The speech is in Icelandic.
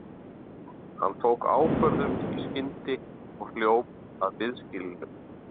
Hann tók ákvörðun í skyndi og hljóp að biðskýlinu.